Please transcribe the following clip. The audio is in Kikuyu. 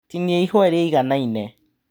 Tinia ĩhũa rĩiganaine.